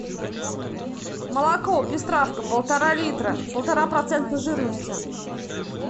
молоко пестравка полтора литра полтора процента жирности